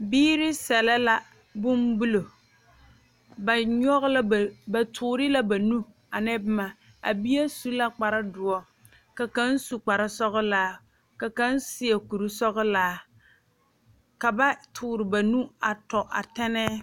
Biiri selɛ la bonbulo ba nyɔge la ba nu ba toore la ba nubane a ne boma a bie su la kpar doɔ ka kaŋ sunkpar sɔgelaa ka kaŋ seɛ kuri sɔgelaa ka ba toore ba nu a tɔ a tɛnnɛɛ